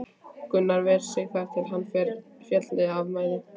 Gunnar ver sig þar til er hann féll af mæði.